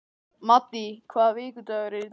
Maddý, hvaða vikudagur er í dag?